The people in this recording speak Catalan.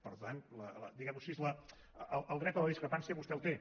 per tant diguemho així el dret a la discrepància vostè el té